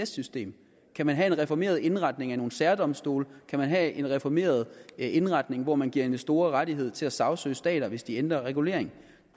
system kan man have en reformeret indretning af nogle særdomstole kan man have en reformeret indretning hvor man giver investorer rettigheder til at sagsøge stater hvis de ændrer regulering